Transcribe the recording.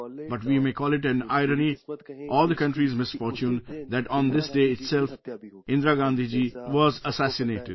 But we may call it the country's misfortune that on this day itself Indira Gandhi ji was assassinated